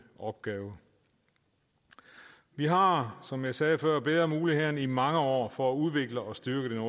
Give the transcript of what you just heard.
opgave vi har som jeg sagde før bedre muligheder end vi i mange år for at udvikle og styrke det